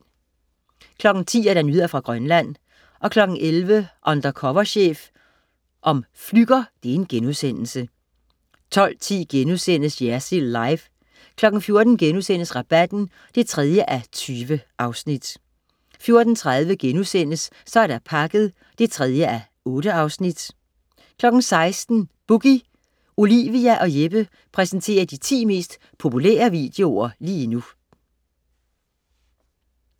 10.00 Nyheder fra Grønland 11.00 Undercover chef. Flügger* 12.10 Jersild Live* 14.00 Rabatten 3:20* 14.30 Så er der pakket 3:8* 16.00 Boogie. Olivia og Jeppe præsenterer de 10 mest populære videoer lige nu